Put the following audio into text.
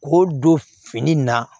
K'o don fini na